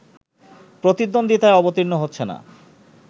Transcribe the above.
প্রতিদ্বন্দ্বিতায় অবতীর্ণ হচ্ছে না